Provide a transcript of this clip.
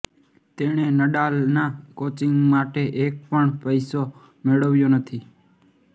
તેણે નડાલના કોચિંગ માટે એક પણ પૈસો મેળવ્યો નથી